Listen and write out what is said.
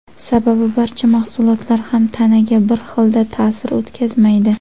Sababi barcha mahsulotlar ham tanaga bir xilda ta’sir o‘tkazmaydi.